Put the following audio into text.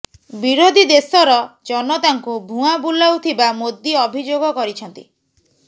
ବିରୋଧୀ ଦେଶର ଜନତାଙ୍କୁ ଭୂଆଁ ବୁଲାଉଥିବା ମୋଦି ଅଭିଯୋଗ କରିଛନ୍ତି